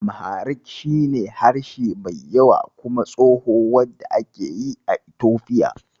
Amharic shi ne harshe mai yawa kuma tsoho, wand ake yi a Itofiya.